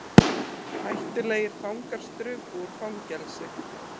Hættulegir fangar struku úr fangelsi